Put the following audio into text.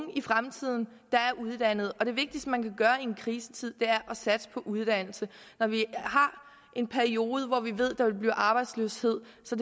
der er uddannet og det vigtigste man kan gøre i en krisetid er at satse på uddannelse når vi har en periode hvor vi ved at der vil blive arbejdsløshed så